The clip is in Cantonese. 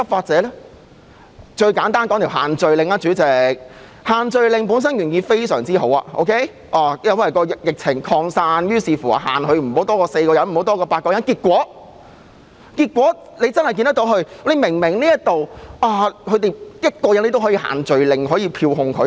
主席，以限聚令為例，限聚令原意很好，因為疫情擴散，限制市民聚集不可多於4人，後期不可多於8人，結果我們看到，即使對於1個人，警方也可以用限聚令來票控他。